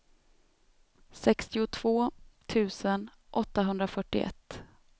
sextiotvå tusen åttahundrafyrtioett